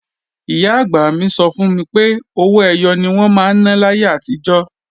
Ìyá-àgbà mi sọ fún mi pé owó ẹyọ ni wọ́n máa ń ná láyé àtijọ́